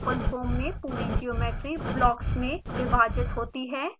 openfoam में पूरी geometry blocks में विभाजित होती है